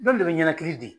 N'olu de bɛ ɲɛnakili di